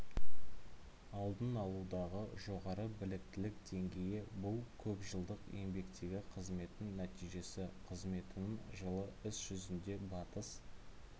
алдын алудағы жоғары біліктілік деңгейі бұл көпжылдық еңбектегі қызметінің нәтижесі қызметінің жылы іс жүзінде батыс